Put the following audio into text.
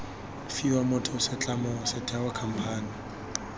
fiwa motho setlamo setheo khamphane